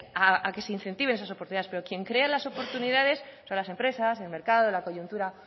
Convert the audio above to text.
a que se incentiven esas oportunidades pero quien crea las oportunidades son las empresas el mercado la coyuntura